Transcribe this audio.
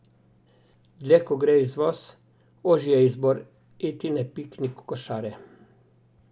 Dlje kot gre izvoz, ožji je izbor Etine piknik košare.